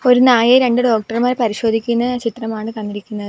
ഒരു നായയെ രണ്ട് ഡോക്ടർമാർ പരിശോധിക്കുന്ന ചിത്രമാണ് തന്നിരിക്കുന്നത്.